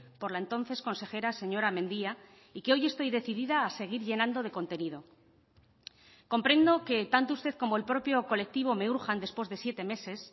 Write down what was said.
por la entonces consejera señora mendia y que hoy estoy decidida a seguir llenando de contenido comprendo que tanto usted como el propio colectivo me urjan después de siete meses